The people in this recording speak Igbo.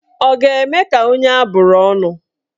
Ọ ga-eme ka onye abụrụ ọnụ?